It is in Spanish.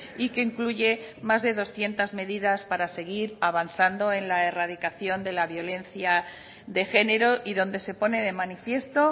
y que incluye más de doscientos medidas para seguir avanzando en la erradicación de la violencia de género y donde se pone de manifiesto